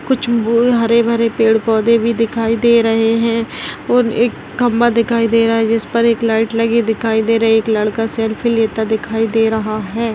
कुछ भू हरे भरे पेड़ पौंधे दिखाई भी दे रहे है और एक खंबा दिखाई दे रहा है जिस पर एक लाइट लगी दिखाई दे रही है एक लड़का सेल्फी लेता दिखाई दे रहा है।